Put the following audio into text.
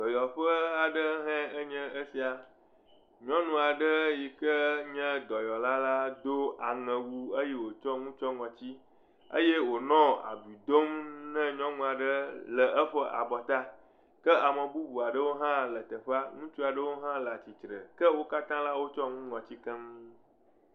Dɔyɔƒe aɖe hãe nye esia. Nyɔnu aɖe yi ke nye dɔyɔla la do aŋɛwu eye wòtsɔ nu tsyɔ ŋɔtsi eye wònɔ abui dom na nyɔnu aɖe le eƒe abɔta. Ke ame bubu aɖewo hã le teƒea. Ŋutsu aɖewo hã le atsitre. Ke wo katã la, wotsyɔ nu ŋɔtsi keŋ.